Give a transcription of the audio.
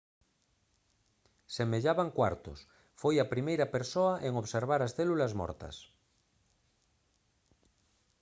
semellaban cuartos foi a primeira persoa en observar as células mortas